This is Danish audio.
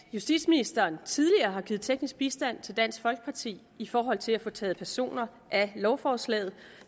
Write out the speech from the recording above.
at justitsministeren tidligere har givet teknisk bistand til dansk folkeparti i forhold til at få taget personer af lovforslaget